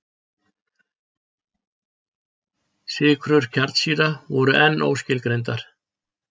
Sykrur kjarnsýra voru enn óskilgreindar.